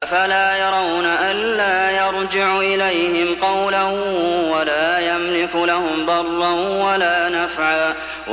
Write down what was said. أَفَلَا يَرَوْنَ أَلَّا يَرْجِعُ إِلَيْهِمْ قَوْلًا وَلَا يَمْلِكُ لَهُمْ ضَرًّا وَلَا نَفْعًا